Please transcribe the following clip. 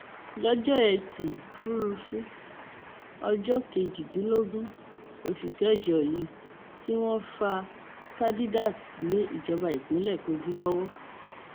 lọjọ etí furuufee ọjọ kejìdínlógún oṣù kẹjọ yìí tí wọn fa khadidiat lé ìjọba ìpínlẹ kogi lọwọ